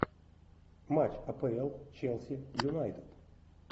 матч апл челси юнайтед